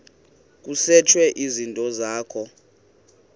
kusetshwe izinto zakho